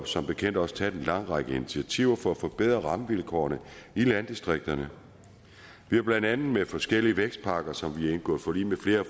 som bekendt også taget en lang række initiativer for at forbedre rammevilkårene i landdistrikterne vi har blandt andet med forskellige vækstpakker som vi har indgået forlig med flere af